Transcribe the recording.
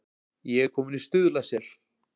Ég er kominn í Stuðlasel.